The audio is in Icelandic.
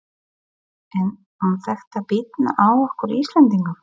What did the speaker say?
En mun þetta bitna á okkur Íslendingum?